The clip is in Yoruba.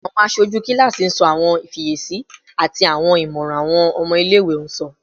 Awọn aṣoju kilasi sọ awọn ifiyesi ati awọn imọran awọn ọmọ ile-iwe sọ